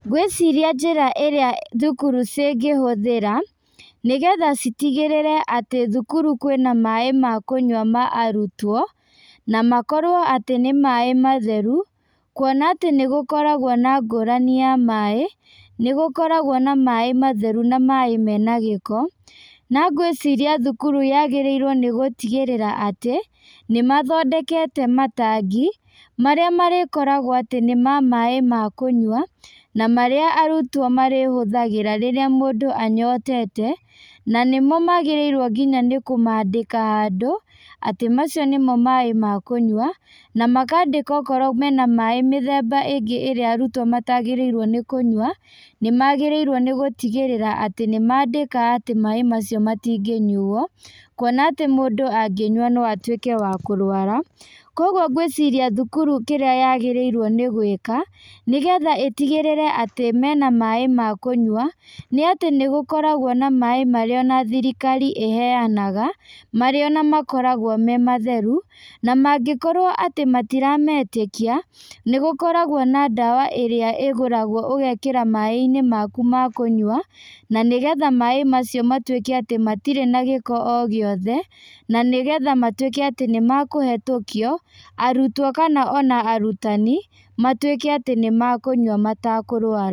Ngwĩciria njĩra ĩrĩa thukuru cingĩhũthĩra, nĩgetha citigĩrĩre atĩ thukuru kwĩna maĩ makũnyua ma arutwo, na makorwo atĩ nĩmaĩ matheru, kuona atĩ nĩgũkoragwo na ngũrani ya maĩ, nĩgũkoragwo na maĩ matheru na maĩ mena gĩko, na ngwĩciria thukuru yagĩrĩirwo nĩgũtigĩrĩra atĩ, nĩmathondekete matangi, marĩa marĩkoragwo atĩ nĩ ma maĩ makũnyua, na marĩa arutwo marĩhũthagĩra rĩrĩa mũndũ anyotete, na nĩmo magĩrĩirwo nginya nĩkũmandĩka handũ, atĩ macio nĩmo maĩ ma kũnywa, na makandĩka okorwo mena maĩ mĩthemba ingĩ ĩrĩa arutwo matagĩrĩirwo nĩ kunyua, nĩmagĩrĩirwo nĩgũtigĩrĩra atĩ nĩmandĩka atĩ maĩ macio matingĩnyuo, kuona atĩ mũndũ angĩnyua no atuĩke wa kũrwara, koguo ngwĩciria thukuru kĩrĩa yagĩrĩirwo nĩ gwĩka, nĩgetha ĩtigĩrĩre atĩ mena maĩ ma kũnywa, nĩatĩ nĩgũkoragwo na maĩ marĩa ona thirikari ĩheanaga, marĩa ona makoragwo me matheru, na mangĩkorwo atĩ matirametĩkia, nĩgũkoragwo na ndawa ĩrĩa ĩgũragwo ũgekĩra mainĩ maku ma kũnyua, na nĩgetha maĩ macio matuĩke atĩ matirĩ na gĩko o gĩothe, na nĩgetha matuĩke atĩ nĩmakũhetũkio, arutwo kana ona arutani, matuĩke atĩ nĩmakũnywa matakũrwara.